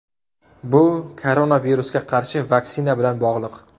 Bu koronavirusga qarshi vaksina bilan bog‘liq.